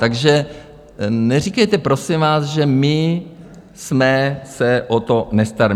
Takže neříkejte prosím vás, že my jsme se o to nestarali.